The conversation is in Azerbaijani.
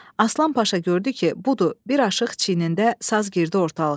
Aslan Paşa gördü ki, budur, bir aşıq çiynində saz girdi ortalığa.